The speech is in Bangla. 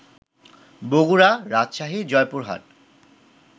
বগুড়া, রাজশাহী, জয়পুরহাট